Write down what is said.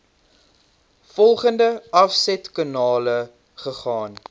volgende afsetkanale gegaan